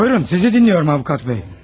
Buyurun, sizi dinliyorum avukat bey.